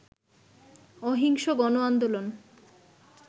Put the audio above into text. অহিংস গণ আন্দোলন